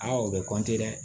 o bɛ dɛ